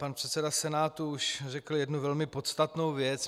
Pan předseda Senátu už řekl jednu velmi podstatnou věc.